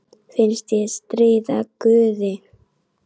Finnst ég stríða guði.